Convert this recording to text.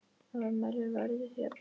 Afmælið verður því að bíða.